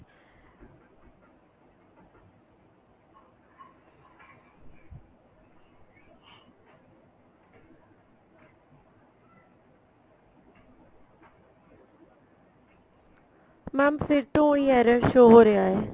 mam ਫ਼ਿਰ ਤੋਂ ਉਹੀ error show ਹੋ ਰਿਹਾ ਏ